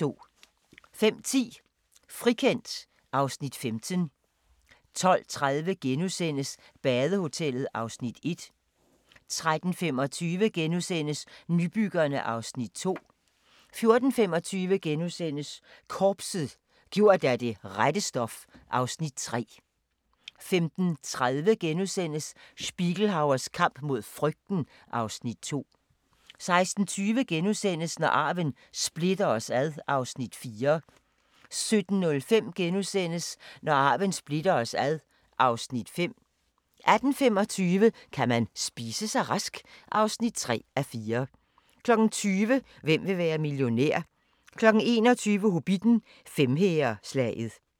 05:10: Frikendt (Afs. 15) 12:30: Badehotellet (Afs. 1)* 13:25: Nybyggerne (Afs. 2)* 14:25: Korpset - gjort af det rette stof (Afs. 3)* 15:30: Spiegelhauers kamp mod frygten (Afs. 2)* 16:20: Når arven splitter os (Afs. 4)* 17:05: Når arven splitter os (Afs. 5)* 18:25: Kan man spise sig rask? (3:4) 20:00: Hvem vil være millionær? 21:00: Hobbitten: Femhæreslaget